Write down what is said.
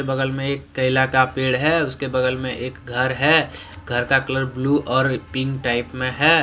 बगल में एक कैला का पेड़ है उसके बगल में एक घर है घर का कलर ब्लू और पिंक टाइप में है।